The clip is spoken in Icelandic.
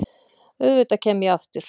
Auðvitað kem ég aftur.